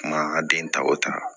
Kuma ka den tako ta